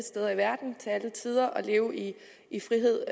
steder i verden og til alle tider at leve i i frihed